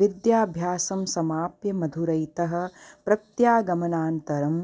विद्याभ्यासं समाप्य मधुरैतः प्रत्यागमनानन्तरं